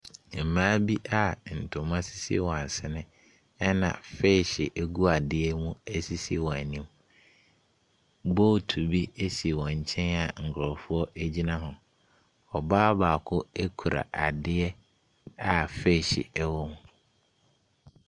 Mmaa bi a ntoma sisi wɔn asene na feehye gu adeɛ mu sisi wɔn anim. Bootu bi si wɔn nkyɛn a nkurɔfoɔ gyina ho. Ɔbaa baako kura adeɛ a feehye wom.